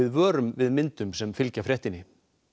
vörum við myndunum sem fylgja fréttinni